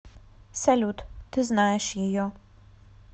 салют ты знаешь ее